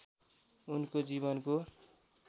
उनको जीवनको